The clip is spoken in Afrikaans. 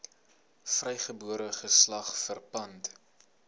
vrygebore geslag verpand